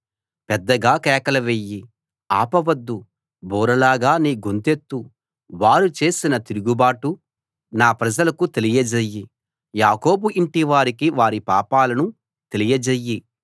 పెద్దగా కేకలు వెయ్యి ఆపవద్దు బూరలాగా నీ గొంతెత్తు వారు చేసిన తిరుగుబాటు నా ప్రజలకు తెలియజెయ్యి యాకోబు ఇంటివారికి వారి పాపాలను తెలియజెయ్యి